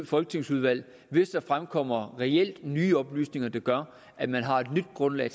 folketingsudvalg hvis der fremkommer reelt nye oplysninger der gør at man har et nyt grundlag